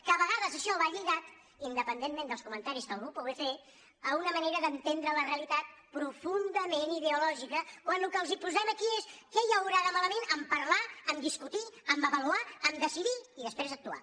que a vegades això va lligat independentment dels comentaris que algú pugui fer a una manera d’entendre la realitat profundament ideològica quan el que els posem aquí és què hi haurà de malament a parlar a discutir a avaluar a decidir i després actuar